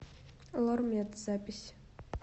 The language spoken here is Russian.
лормед запись